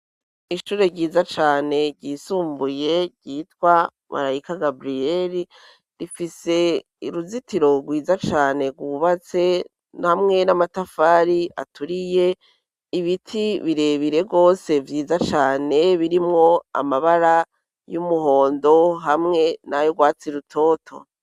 Ishure ryiza cane ryisumbuye ryitwa Marayika Gaburiyeri, rifise iruzitiro rwiza cane, rwubatse hamwe n'amatafari aturiye ibiti birebire rwose vyiza cane birimwo amabara y'umuhondo hamwe nayo rwatsi rutoto.